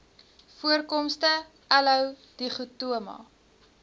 voorkomste aloe dichotoma